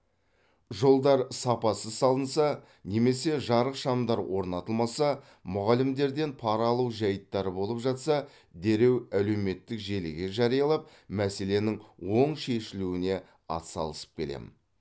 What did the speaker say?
жолдар сапасыз салынса немесе жарық шамдар орнатылмаса мұғалімдерден пара алу жәйттері болып жатса дереу әлеуметтік желіге жариялап мәселенің оң шешілуне атсалысып келемін